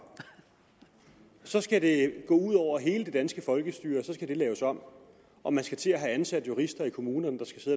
så skal det gå ud over hele det danske folkestyre så skal det laves om og man skal til at have ansat jurister i kommunerne der skal